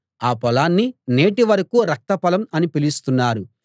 ఆ పొలాన్ని నేటివరకూ రక్త పొలం అని పిలుస్తున్నారు